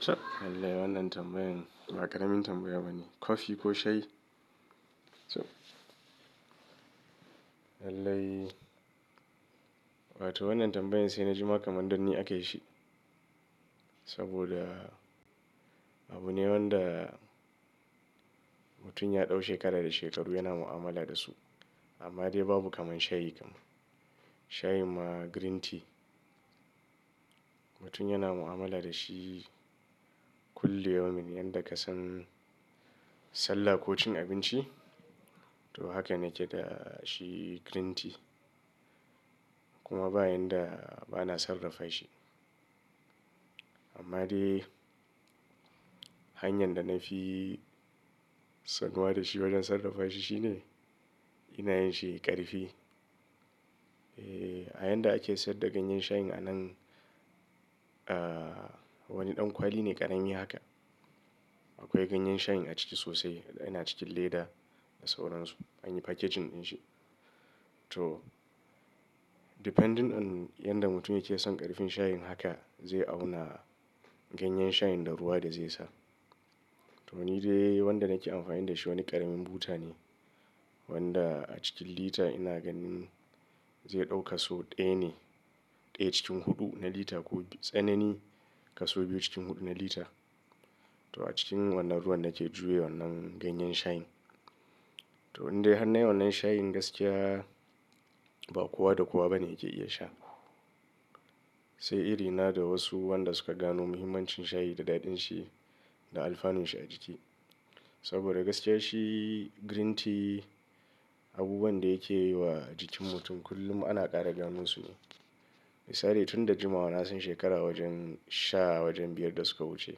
Chab, lallai wannan tambayan, ba ƙaramin tambaya bane. Coffee ko shayi? To, lallai wato wannan tambayan sai na jima kamandan ni akayi shi. Saboda abu ne wanda mutum ya ɗau shekara da shekaru yana mu'amala da su. Amma dai babu kamar shayi kam. Shayi ma green tea mutum yana mu'amala da shi kullum, yomin yanda ka san sallah ko cin abinci to haka nake da shi green tea. Kuma ba yanda bana sarrafa shi. Amma dai hanyar da na fi son zuwa da shi wajen sarrafa shi shine ina yin shi ƙarfi. Eeh, a yanda ake siyar da ganyen shayin a nan, ah wani ɗan kwali ne ƙarami haka. Akwai ganyen shayin a ciki sosai. Ina cikin leda da sauran su. Anyi packaging din shi. To, depending on yanda mutum yake son ƙarfin shayin haka zai auna ganyen shayin da ruwa da zai sa. To ni dai wanda nake amfani da shi wani ƙaramin buta ne wanda a cikin lita ina ganin zai ɗau kaso ɗaya ne. Ɗaya cikin huɗu na lita ko tsanani kaso biyu cikin huɗu na lita. To a cikin wannan ruwan nake juya wannan ganyen shayin. To indai hannay wannan shayin gaskiya ba kowa da kowa bane yake iya sha. Sai iri na da wasu wanda suka gano muhimmancin shayi da daɗin shi da alfanun shi a jiki. Saboda gaskiya shi green tea abubuwan da yake yi wa jikin mutum kullum ana ƙara ganin su. Misali tun da juma wa nasan shekara wajen sha wajen biyar da suka wuce.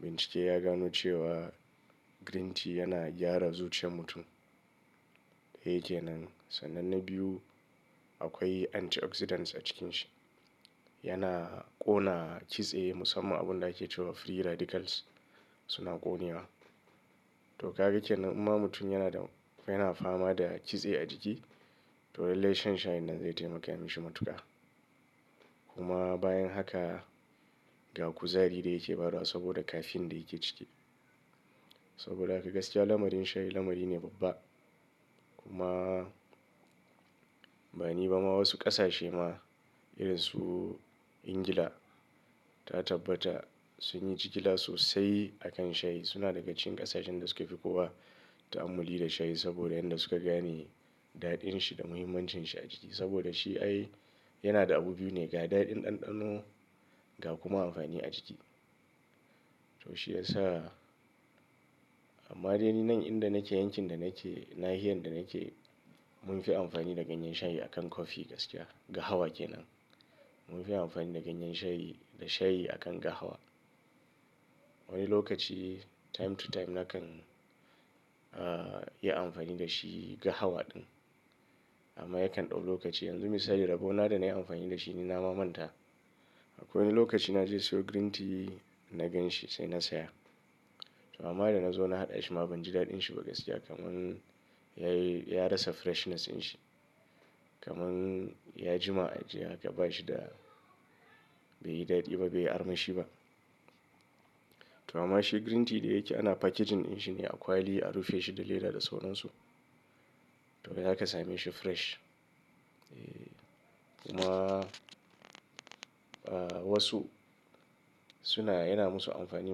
Bincike ya gano cewa green tea yana gyara zuciyar mutum. Yake nan. Sannan na biyu akwai antioxidants a cikin shi. Yana ƙona kitse musamman abun da ake cewa free radicals suna ƙone wa. To kaga ke nan in ma mutum yana da yana fama da kitse a jiki to lallai shan shayin nan zai taimaka mashi matuƙa. Kuma bayan haka ga kuzari da yake bawa saboda caffeine da yake ciki. Saboda haka gaskiya lamarin shayi lamari ne babba. Kuma bani ba ma wasu ƙasashe ma irin su Ingila ta tabbata sun yi jigila sosai a kan shayi. Suna daga cikin ƙasashen da suke fi kowa ta'amuli da shayi saboda yanda suka gane daɗin shi da muhimmancin shi a jiki. Saboda shi ai yana da abu biyu ne ga daɗin ɗanɗano ga kuma amfani a jiki. To shi ya sa amma dai ni nan inda nake yankin da nake nahiyan da nake mun fi amfani da ganyen shayi a kan coffee gaskiya. Ga hawa ke nan. Mun fi amfani da ganyen shayi da shayi a kan ga hawa. Wani lokaci time to time nakan ah yi amfani da shi ga hawa ɗin. Amma yakan ɗau lokaci. Yanzu misali rabo na da nayi amfani da shi ni na mamanta. Akwai wani lokaci naje siyo green tea na gan shi sai na saya. To amma da nazo na haɗa shi ma banji daɗin shi ba gaskiya kamar ya yi ya rasa freshness din shi. Kamar ya jima ajiya haka bashi da bai yi daɗi ba bai arma shi ba. To amma shi green tea da yake ana packaging din shi ne a kwali a rufe shi da leda da sauran su. To haka same shi fresh. Eeh kuma ah wasu suna yana musu amfani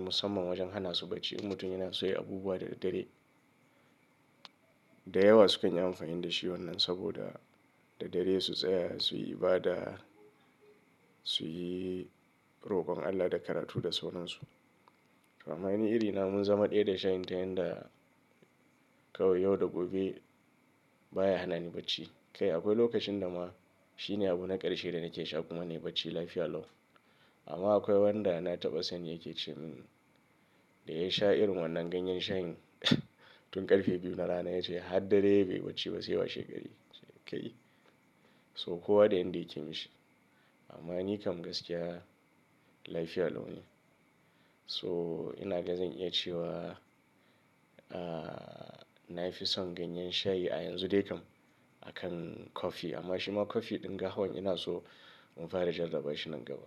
musamman wajen hana su bacci. In mutum yana soye abubuwa da daddare da yawa sukan yi amfani da shi wannan saboda da dare su tsaya suyi ibada suyi rokon Allah da karatu da sauran su. To amma ni iri na mun zama ɗaya da shayin ta yanda kawai yau da gobe baya hana ni bacci. Kai akwai lokacin da ma shi ne abu na ƙarshe da nake sha kuma ne bacci lafiya lau. Amma akwai wanda na taɓa san yake cewa hmm da yayi sha irin wannan ganyen shayin tun ƙarfe biyu na rana yake sha har dare bai bacci ba sai ya wa shegari. Kai so kowa da yanda yake yi mishi. Amma ni kam gaskiya lafiya lau ne. So ina da zan iya cewa ah na fi son ganyen shayi a yanzu dai kam akan coffee. Amma shima coffee din gahawan ina so mun fara jarabawar shi nan gaba.